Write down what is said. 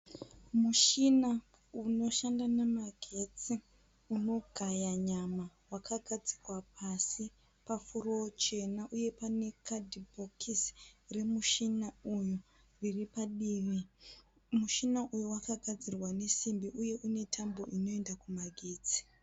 Mushina unoshanda nemagetsi unogaya nyama wakagadzikwa pasi pafurowo chena uye pane kadhibhokisi remushina uyu riripadivi. Mushina uyu wakagadzirwa nesimbi uye une tambo inoenda kumagetsi.